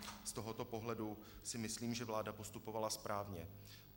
Z tohoto pohledu si myslím, že vláda postupovala správně.